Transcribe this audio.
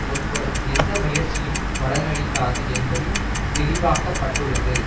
முற்படும் எந்த முயற்சியும் பலனளிக்காது என்பதும் தெளிவாக்கப்பட்டுள்ளது